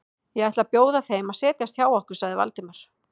Ég ætla að bjóða þeim að setjast hjá okkur sagði Valdimar.